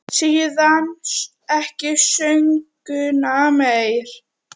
Síðan ekki söguna meir.